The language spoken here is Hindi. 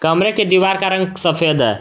कमरे के दीवार का रंग सफेद है।